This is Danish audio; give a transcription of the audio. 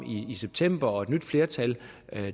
i september og et nyt flertal